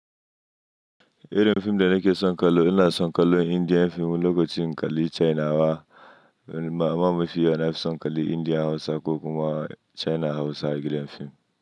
Eh, inada fim da nake son kallo, ina son kallo Indian fim lokacin kalli China wa, amma mafi yana son kalli India Hausa ko kuma China Hausa gidan fim.